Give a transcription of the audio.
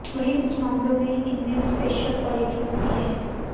वहीं कुछ मामलों में इनमें स्पेशल क्वालिटी होती है